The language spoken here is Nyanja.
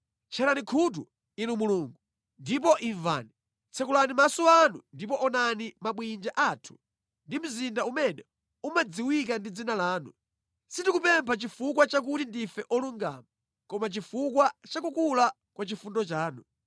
Tcherani khutu, Inu Mulungu, ndipo imvani; tsekulani maso anu ndipo onani mabwinja athu ndi mzinda umene umadziwika ndi dzina lanu. Sitikupempha chifukwa chakuti ndife olungama, koma chifukwa cha kukula kwa chifundo chanu.